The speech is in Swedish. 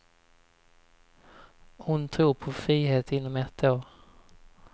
Hon tror på frihet inom ett år.